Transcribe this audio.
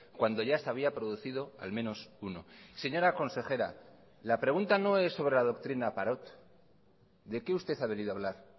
cuando ya se había producido al menos uno señora consejera la pregunta no es sobre la doctrina parot de qué usted ha venido a hablar